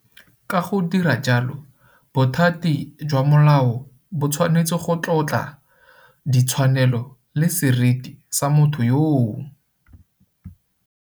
Ka go dira jalo, bothati jwa molao bo tshwanetse go tlotla ditshwanelo le seriti sa motho yoo.